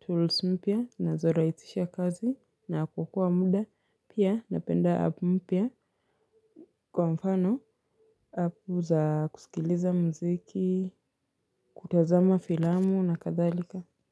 tools mpia na zoraisisha kazi na kuokoa muda pia napenda app mpia kwa mfano Apu za kusikiliza mziki kutazama filamu na kadhalika.